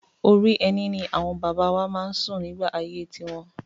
Orí ẹní ni àwọn òbí wa máa ń sùn nígbà ayé tiwọn.